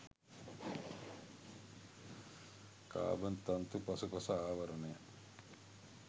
carbon තන්තු පසුපස ආවරණය